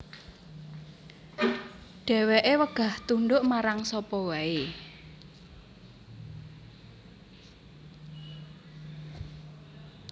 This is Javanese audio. Dheweke wegah tunduk marang sapa wae